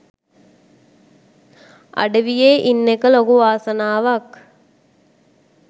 අඩවියේ ඉන්න එක ලොකු වාසනාවක්